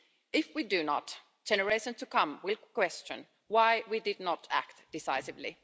If we do not, generations to come will question why we did not act decisively.